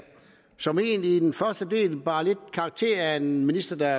som egentlig i den første del bar lidt karakter af en minister der